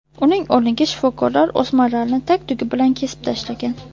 Uning o‘rniga shifokorlar o‘smalarni tag-tugi bilan kesib tashlagan.